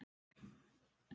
Það vantar ekkert þeirra.